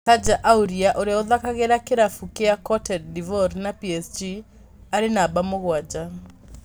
Serge Aurier ũria ũthakagira kĩravũkĩa Cote d'Ivoire na PSG arĩ numba mugwanja.